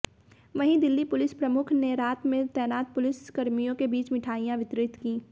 वहीं दिल्ली पुलिस प्रमुख ने रात में तैनात पुलिसकर्मियों के बीच मिठाइयाँ वितरित की